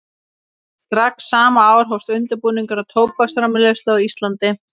Strax sama ár hófst undirbúningur að tóbaksframleiðslu á Íslandi.